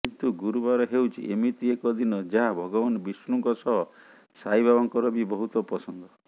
କିନ୍ତୁ ଗୁରୁବାର ହେଉଛି ଏମିତି ଏକ ଦିନ ଯାହା ଭଗବାନ ବିଷ୍ଣୁଙ୍କ ସହ ସାଇବାବାଙ୍କର ବି ବହୁତ ପସନ୍ଦ